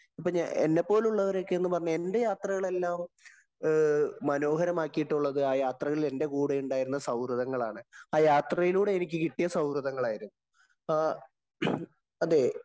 എന്നെ പോലുള്ളവരൊക്കെ എന്ന് പറഞ്ഞാല്‍, എന്‍റെ യാത്രകളെല്ലാംമനോഹരമാക്കിയിട്ടുള്ളത് ആ യാത്രയില്‍ എന്‍റെ കൂടെയുണ്ടായിരുന്ന സൗഹൃദങ്ങളാണ്. ആ യാത്രയിലൂടെ എനിക്ക് കിട്ടിയ സൗഹൃദങ്ങളായിരുന്നു.അതേ